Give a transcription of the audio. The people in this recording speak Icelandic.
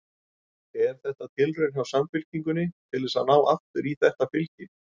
Er þetta tilraun hjá Samfylkingunni til þess að ná aftur í þetta fylgi?